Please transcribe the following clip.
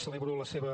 celebro la seva